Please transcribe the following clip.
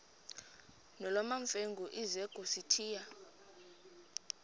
nolwamamfengu ize kusitiya